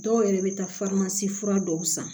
Dɔw yɛrɛ bɛ taa fura dɔw san